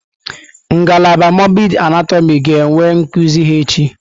Ngalaba mọrbịdị anatọmị ga-enwe nkuzi ha echi.